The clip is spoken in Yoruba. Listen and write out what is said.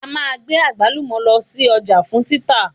A máa gbé àgbálùmọ̀ lọ sí ọjà fún títà